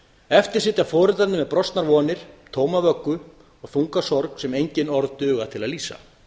eftir sitja foreldrarnir með brostnar vonir tóma vöggu og þunga sorg sem enginn orð duga til að lýsa